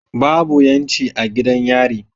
Babu yanci a gidan yari